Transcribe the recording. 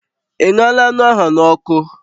Ị ṅụọla anụ ahụ n'ọkụ?